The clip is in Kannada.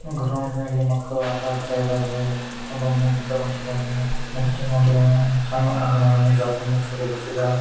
ಗ್ರೌಂಡಿನಲ್ಲಿ ಮಕ್ಕಳು ಆಟ ಆಡತಾ ಇದ್ದವೇ ಒಬ್ಬ ಮುದುಕ ಹೊಂಟಿದಾನೆ ಮುದುಕಿನು ಹೊಂಟಿದಾಳೆ ಸಣ್ ಮಗುನು ಜಾರ್ಕೊಂಡ್ ಜಾರ್ಕೊಂಡ್ ಈ ಕಡೆ ಬರ್ತಿದ್ದಾಳೆ .